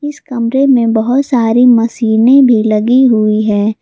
इस कमरे में बहुत सारी मशीने भी लगी हुई है।